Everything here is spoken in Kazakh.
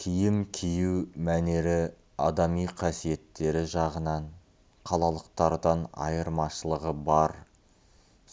киім кию мәнері адами қасиеттері жағынан қалалықтардан айырмашылығы бар